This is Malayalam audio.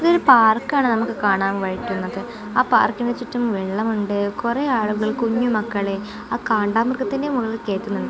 ഇതൊരു പാർക്കാണ് നമുക്ക് കാണാൻ വഴുറ്റുന്നത് ആ പാർക്കിനു ചുറ്റും വെള്ളമുണ്ട് കുറെ ആളുകൾ കുഞ്ഞു മക്കളെ ആ കാണ്ടാമൃഗത്തിന്റെ മുകളിൽ കയറ്റുന്നുണ്ട്.